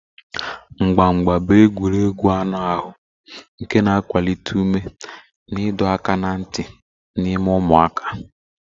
Mgba mgba bụ egwuregwu anụ ahụ nke na-akwalite ume na ịdọ aka ná ntị n'ime ụmụaka.